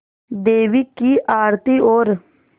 देवी की आरती और